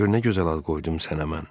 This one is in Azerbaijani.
Gör nə gözəl ad qoydum sənə mən.